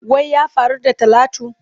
Wai ya faru da talatu?